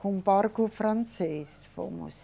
Com barco francês fomos.